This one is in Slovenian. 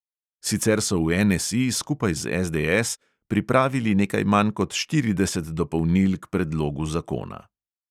Sicer so v NSE skupaj z SDS pripravili nekaj manj kot štirideset dopolnil k predlogu zakona.